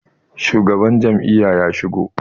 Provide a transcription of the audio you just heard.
shugaban Jami'a ya shigo?